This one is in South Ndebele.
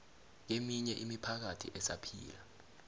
keminye imiphakathi esaphila